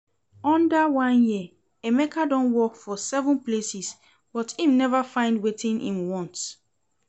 Under one year Emeka don work for seven places but im never find wetin im want